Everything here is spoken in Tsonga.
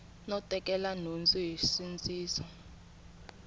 no tekela nhundzu hi nsindziso